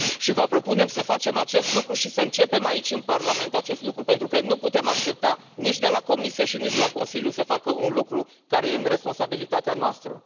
Vă propunem să facem acest lucru și să începem aici în Parlament acest lucru, pentru că nu putem aștepta nici de la Comisie, nici de la Consiliu să facă un lucru, care este în responsabilitatea noastră.